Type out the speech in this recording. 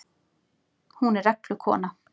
Hún er reglukona.